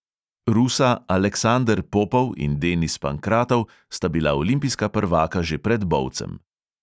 Rusa aleksander popov in denis pankratov sta bila olimpijska prvaka že pred bovcem.